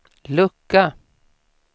lucka